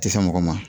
Tɛ se mɔgɔ ma